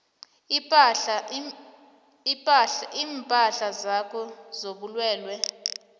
iinhlahla zakho zobulwelwe